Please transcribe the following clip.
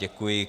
Děkuji.